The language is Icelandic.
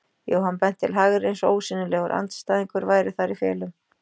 Jóhann benti til hægri eins og ósýnilegur andstæðingur væri þar í felum.